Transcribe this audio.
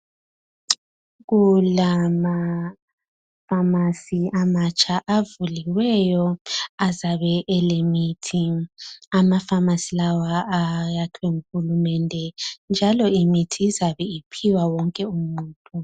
Kulamafamasi amatsha avuliweyo azabe elemithi. Amafamasi lawa ayakhiwe nguhulumende njalo imithi izabe iphiwa wonke umuntu.